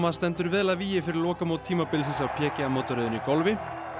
stendur vel að vígi fyrir lokamót tímabilsins á mótaröðinni í golfi